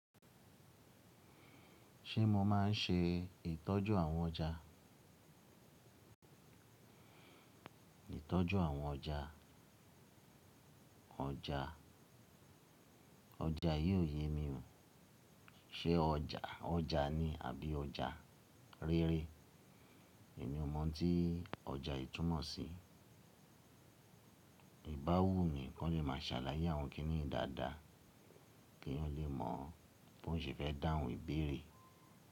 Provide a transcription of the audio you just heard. Ṣé mo máa ń ṣe ìtọ́jú àwọn ọjà? Ìtọ́jú àwọn ọjà. Ọjà, ọjà yíò yé mi o. Ṣé ọjà, ọjà ni àbí ọjà rere. Èmi ò mọ̀ tí ọjà yìí túnmọ̀ sí. Ìbáwú ni, kan lè máa ṣàlàyé àwọn kínní i dáadáa k'èayàn lè mọ̀ bó ṣe fẹ́ dáhùn ìbéèrè.